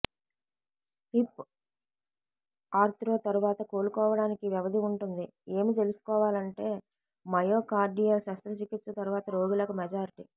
hip ఆర్త్రో తరువాత కోలుకోవడానికి వ్యవధి ఉంటుంది ఏమి తెలుసుకోవాలంటే మయోకార్డియల్ శస్త్రచికిత్స తర్వాత రోగులకు మెజారిటీ